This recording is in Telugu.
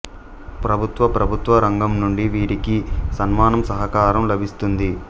ప్రభుత్వ ప్రభుత్వ రంగం నుండి వీరికి సన్మానం సహకారం లభిస్తుంది